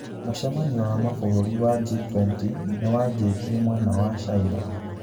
Mũcemanio wa mabũrũri wa G-20 niwanjitie mwena wa China.